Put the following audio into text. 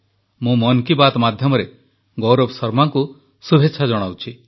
ମୁଁ ମନ୍ କି ବାତ୍ ମାଧ୍ୟମରେ ଗୌରବ ଶର୍ମାଙ୍କୁ ଶୁଭେଚ୍ଛା ଜଣାଉଛି